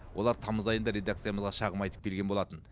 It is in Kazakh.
олар тамыз айында редакциямызға шағым айтып келген болатын